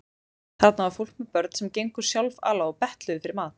Þarna var fólk með börn sem gengu sjálfala og betluðu fyrir mat.